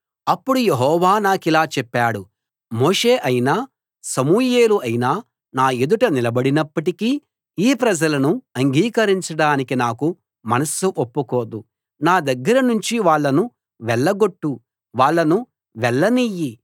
అప్పుడు యెహోవా నాకిలా చెప్పాడు మోషే అయినా సమూయేలైనా నా ఎదుట నిలబడినప్పటికీ ఈ ప్రజలను అంగీకరించడానికి నాకు మనస్సు ఒప్పుకోదు నా దగ్గర నుంచి వాళ్ళను వెళ్లగొట్టు వాళ్ళను వెళ్లనియ్యి